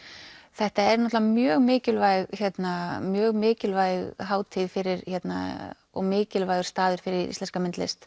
þetta er mjög mikilvæg mjög mikilvæg hátíð fyrir og mikilvægur staður fyrir íslenska myndlist